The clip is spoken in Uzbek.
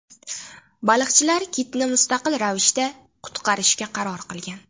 Baliqchilar kitni mustaqil ravishda qutqarishga qaror qilgan.